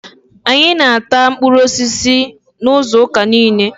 Anyị na-ata mkpụrụ osisi n'izuuka niile.